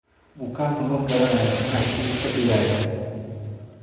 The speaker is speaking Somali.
Bukaanku ma garanayo maxaa isaga ka dhigaya.